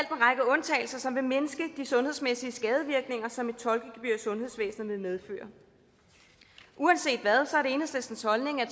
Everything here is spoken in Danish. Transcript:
undtagelser som vil mindske de sundhedsmæssige skadevirkninger som et tolkegebyr i sundhedsvæsenet vil medføre uanset hvad er det enhedslistens holdning at